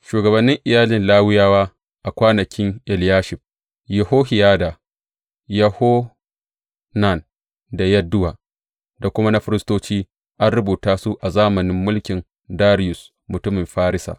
Shugabannin iyalin Lawiyawa a kwanakin Eliyashib, Yohiyada, Yohanan da Yadduwa, da kuma na firistoci, an rubuta su a zamanin mulkin Dariyus mutumin Farisa.